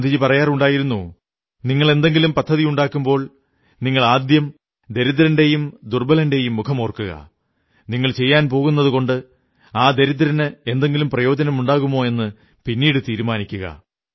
ഗാന്ധിജി പറയാറുണ്ടായിരുന്നു നിങ്ങൾ എന്തെങ്കിലും പദ്ധതിയുണ്ടാക്കുമ്പോൾ നിങ്ങൾ ആദ്യം ഒരു ദരിദ്രന്റെയും ദുർബ്ബലന്റെയും മുഖമോർക്കുക നിങ്ങൾ ചെയ്യാൻ പോകുന്നതുകൊണ്ട് ആ ദരിദ്രന് എന്തെങ്കിലും പ്രയോജനമുണ്ടാകുമോ എന്ന് പിന്നീടു തീരുമാനിക്കുക